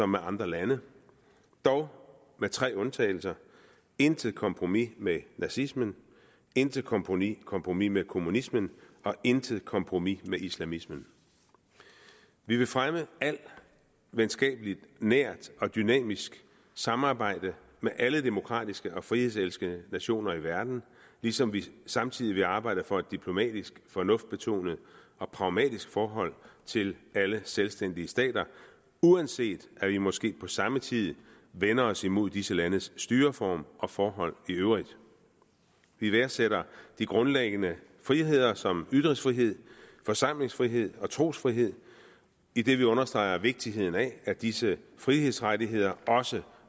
med andre lande dog med tre undtagelser intet kompromis med nazismen intet kompromis kompromis med kommunismen og intet kompromis med islamismen vi vil fremme alt venskabeligt nært og dynamisk samarbejde med alle demokratiske og frihedselskende nationer i verden ligesom vi samtidig vil arbejde for et diplomatisk fornuftsbetonet og pragmatisk forhold til alle selvstændige stater uanset vi måske på samme tid vender os imod disse landes styreform og forhold i øvrigt vi værdsætter de grundlæggende friheder som ytringsfrihed forsamlingsfrihed og trosfrihed idet vi understreger vigtigheden af at disse frihedsrettigheder også